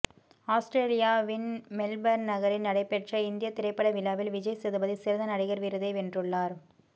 ஆஸ்திரேலியாவின் மெல்பர்ன் நகரில் நடைபெற்ற இந்தியத் திரைப்பட விழாவில் விஜய் சேதுபதி சிறந்த நடிகர் விருதை வென்றுள்ளார்